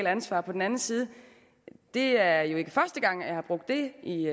ansvar på den anden side det er jo ikke første gang at jeg har brugt det i